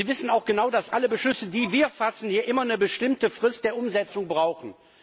Sie wissen auch genau, dass alle Beschlüsse, die wir fassen, hier immer eine bestimmte Frist der Umsetzung brauchen.